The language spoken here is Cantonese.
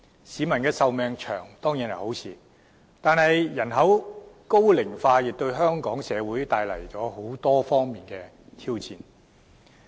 市民長壽當然是好事，但人口高齡化亦為香港社會帶來多方面的挑戰。